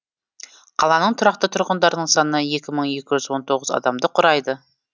қаланың тұрақты тұрғындарының саны екі мың екі жүз он тоғыз адамды құрайды